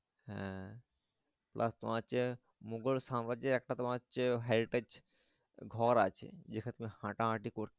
হ্যাঁ Plus তোমার হচ্ছে মোঘল সাম্রাজ্য একটা তোমার হচ্ছে heritage ঘর আছে যেখানে হাঁটা হাঁটি করতো।